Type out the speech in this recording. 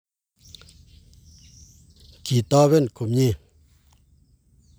kitoben komie